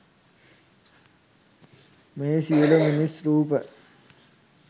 මෙහි සියලු මිනිස් රූප